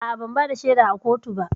A'a, ban bada shaida a kotu ba